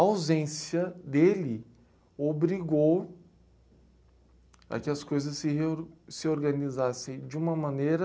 A ausência dele obrigou a que as coisas se, se organizassem de uma maneira...